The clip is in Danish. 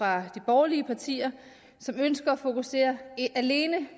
af de borgerlige partier som ønsker at fokusere alene